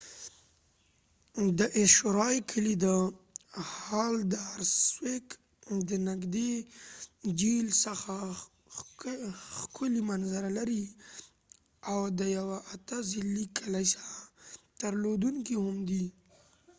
د haldarsvík کلي د eysturoy له نږدې جهیل څخه ښکلي منظره لري او د یو اته ضلعي کلیسا درلودونکی هم دی